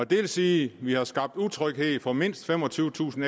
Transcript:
det vil sige at vi har skabt utryghed for mindst femogtyvetusind